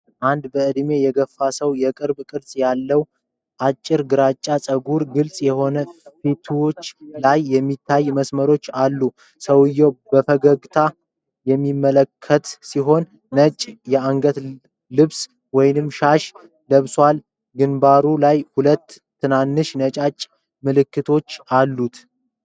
አንድ በዕድሜ የገፉ ሰው የቅርብ ቅርጽ ሲሆን፣ አጭር ግራጫማ ፀጉርና ግልጽ የሆኑ ፊቶች ላይ የሚታዩ መስመሮች አሉት። ሰውየው በፈገግታ የሚመለከት ሲሆን፣ ነጭ የአንገት ልብስ ወይም ሻሽ ለብሷል። ግንባሩ ላይ ሁለት ትናንሽ ነጭ ምልክቶች አሉት።